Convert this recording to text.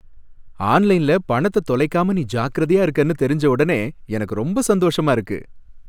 ஆன்லைன்ல பணத்த தொலைகாம நீ ஜாக்கிரதையா இருக்கனு தெரிஞ்ச உடனே எனக்கு ரொம்ப சந்தோஷமா இருக்கு